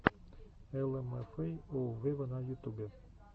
эл эм эф эй оу вево на ютубе